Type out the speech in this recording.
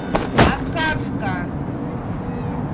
аткарска